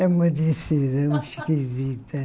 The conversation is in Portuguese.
É uma decisão esquisita.